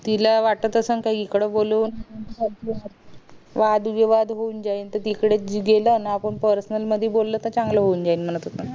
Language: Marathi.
तिला वाट असें का इकडे बोलून वाद विवाद होऊन जाईल त तिकडे गेलं ना पर्सनल बोल त चांगल होऊन जाईन म्हणा तिकडे